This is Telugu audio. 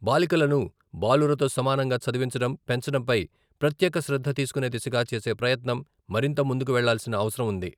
బాలికలను బాలురతో సమానంగా చదివించడం, పెంచడంపై ప్రత్యేక శ్రద్ధ తీసుకునే దిశగా చేసే ప్రయత్నం మరింత ముందుకు వెళ్ళాల్సిన అవసరం ఉంది.